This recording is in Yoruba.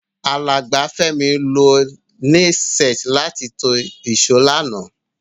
Alàgbà Fẹ́mi lo nail set láti to ìsó lánàá